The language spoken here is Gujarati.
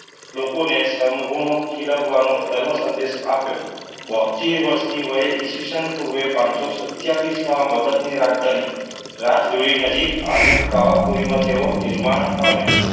લોકોને સમગુણો ખીલવવાનો સર્વ સંદેશ આપ્યો. બોતેર વર્ષની હોય. ઈ. સ પૂર્વે પાંચસો સત્તાવીસમાં મગજની રાજધાની રાજકીય નજીક આવેલ શાળા પુરીમાં તેઓ નિર્વાણ પામ્યા.